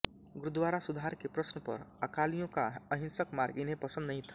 गुरुद्वारा सुधार के प्रश्न पर अकालियों का अहिंसक मार्ग इन्हें पसन्द नहीं था